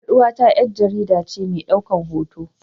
Yar uwata yar jaridace medaukan hoto.